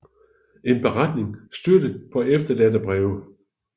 En beretning støttet paa efterladte breve